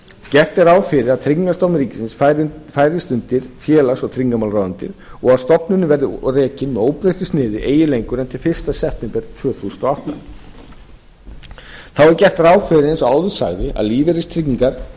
gert er ráð fyrir að tryggingastofnun ríkisins færist undir félags og tryggingamálaráðuneytið og að stofnunin verði rekin með óbreyttu sniði eigi lengur en til fyrsta september tvö þúsund og átta þá er gert ráð fyrir eins og áður sagði að lífeyristryggingar